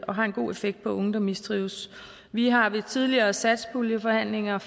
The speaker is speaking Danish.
har en god effekt på unge der mistrives vi har ved tidligere satspuljeforhandlinger